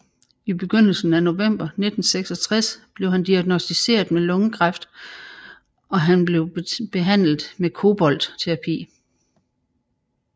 I begyndelsen af november 1966 blev han diagnosticeret med lungekræft og han blev behandlet med koboltterapi